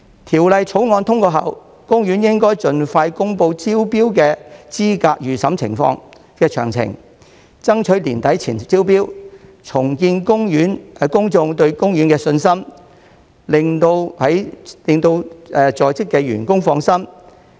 《條例草案》通過後，公園應盡快公布招標資格預審詳情，爭取年底前進行招標，重建公眾對公園的信心，令在職員工放心。